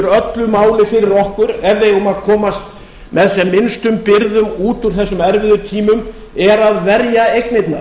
öllu máli fyrir okkur ef við eigum að komast með sem minnstum byrðum út úr þessum erfiðu tímum er að verja eignirnar